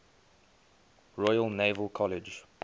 royal naval college